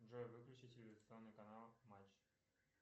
джой выключи телевизионный канал матч